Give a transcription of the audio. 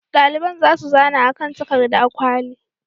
Ɗaliban za su zana a kan takardar kwali.